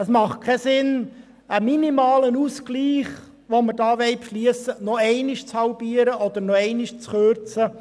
Es macht keinen Sinn, einen minimalen Ausgleich erneut zu halbieren oder zu kürzen.